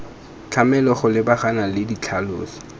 tlamelwa go lebagana le ditlhaloso